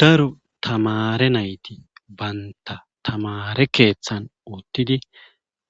daro tamare nayti banta tamare keeththan uuttidi